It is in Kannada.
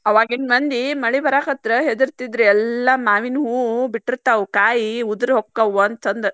ಆವಾಗಿನ್ ಮಂದಿ ಮಳಿ ಬರಕತ್ರ್ ಹೆದರ್ತಿದ್ರ ಎಲ್ಲಾ ಮಾವಿನ ಹೂವು ಬಿಟ್ಟಿರ್ತಾವ, ಕಾಯಿ ಉದಿರಿಹೊಕ್ಕಾವ ಅಂತಂದ್.